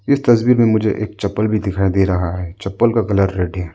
इस तस्वीर में मुझे एक चप्पल भी दिखाई दे रहा है चप्पल का कलर रेड हे।